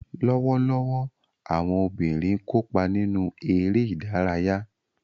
Lọwọlọwọ, awọn obinrin kopa ninu ere idaraya.